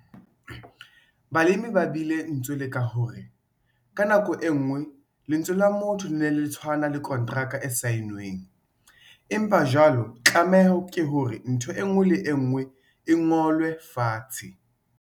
Balemi ba bile ntswe leng ka ho re- 'Ka nako e nngwe lentswe la motho le ne le tshwana le konteraka e saennweng, empa jwale tlameho ke hore ntho e nngwe le e nngwe e ngolwe fatshe!'